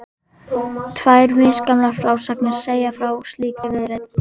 Tvær misgamlar frásagnir segja frá slíkri viðleitni.